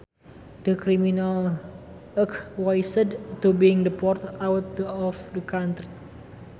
The criminal acquiesced to being deported out of the country